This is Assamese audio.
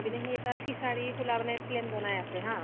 পিনে সি এটা fishery খুলা মানে plan বনাই আছে মানে, হা ?